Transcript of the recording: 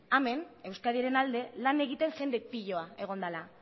hemen euskadiren alde lan egiten jende piloa egon dela